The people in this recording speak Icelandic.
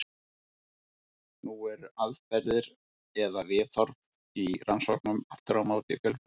Nú eru aðferðir eða viðhorf í rannsóknum aftur á móti fjölbreytt.